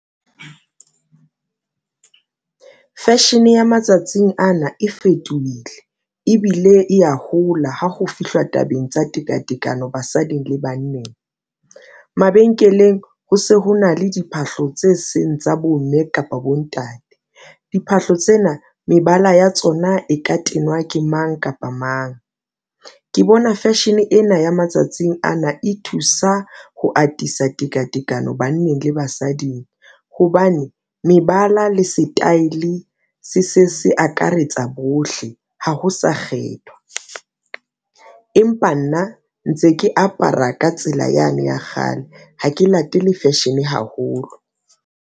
Fashion ya matsatsing ana e fetohile ebile e ya hola ha ho fihluwa tabeng tsa tekatekano basading le banneng. Mabenkeleng ho se ho na le diphahlo tse seng tsa bomme kapa bontate diphahlo tsena mebala ya tsona e ka tenwa ke mang kapa mang, ke bona fashion ena ya matsatsing ana e thusa ho atisa tekatekano ho banneng le basading hobane mebala le setaele se se se akaretsa bohle ha ho sa kgethwa. Empa nna ntse ke apara ka tsela yane ya kgale ha ke latele fashion haholo.